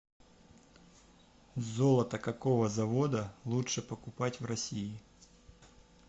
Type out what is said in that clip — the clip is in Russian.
золото какого завода лучше покупать в россии